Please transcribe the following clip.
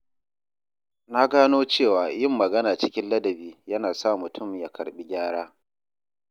Na gano cewa yin magana cikin ladabi yana sa mutum ya karɓi gyara.